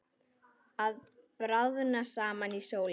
Að bráðna saman í sólinni